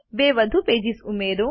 બે વધુ પેજીસ ઉમેરો